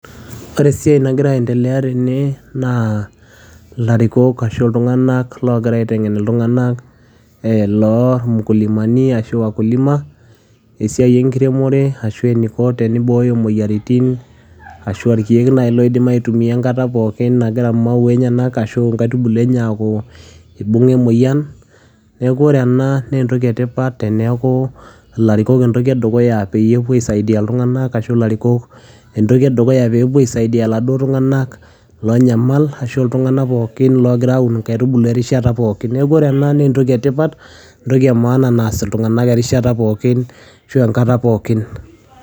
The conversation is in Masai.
Wore esiai nagira aendelea tene naa ilarikok ashu iltunganak loogira aitengen iltunganak, eeh loomukulimani ashu wakulima , esiai enkiremore ashu eniko tenibooyo imoyiritin ashu irkeke loidim aitumia enkata pookin nagira mauwa enyenak ashu inkaitubulu enye aaku ibunga emoyian, niaku wore enaa naa entoki etipat teniaku ilarikok entoki edukuya peyie epuo aisaidia iltunganak ashu ilarikok entoki edukuya peyie epuo aisaidia iladuo tunganak loonyamal ashu iltunganak pookin longira aun inkaitubulu erishata pookin. Niaku wore enaa naa entoki etipat, entoki emaana naas iltunganak erishata pookin ashu enkata pookin.